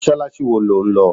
Mọ́sálásí wo lo ń lọ?